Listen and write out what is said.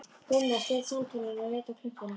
Gunnar sleit samtalinu og leit á klukkuna.